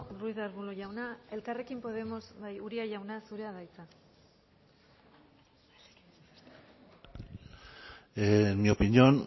ruiz de arbulo jauna elkarrekin podemos bai uria jauna zurea da hitza en mi opinión